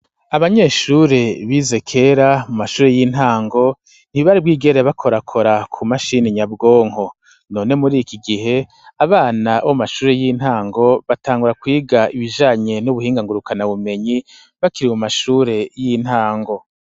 Abanyeshure bize kera muma shure y'intango nti bari bwigere bakorakora ku mashini nyabwonko none muri iki gihe abana b'amashure y'intango batangura kwiga ibijanye n'ubuhinga ngurukana bumenyi bakiri mu mashure y'intango.